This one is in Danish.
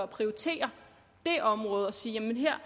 prioritere det område og sige jamen her